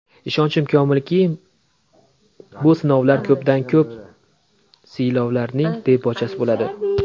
Ishonchim komilki, bu sinovlar ko‘pdan-ko‘p siylovlarning debochasi bo‘ladi.